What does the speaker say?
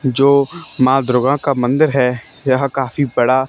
जो मां दुर्गा का मंदिर है यह काफी बड़ा--